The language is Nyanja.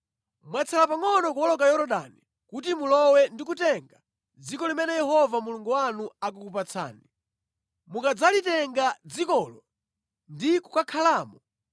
Mwatsala pangʼono kuwoloka Yorodani kuti mulowe ndi kutenga dziko limene Yehova Mulungu wanu akukupatsani. Mukadzalitenga dzikolo ndi kukhalamo,